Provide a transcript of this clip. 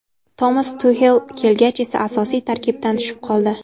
Tomas Tuxel kelgach esa asosiy tarkibdan tushib qoldi.